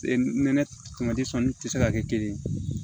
Nɛnɛ tamati tɛ se ka kɛ kelen ye